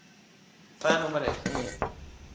Það er nú númer eitt.